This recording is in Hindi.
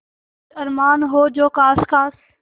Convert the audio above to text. कुछ अरमान हो जो ख़ास ख़ास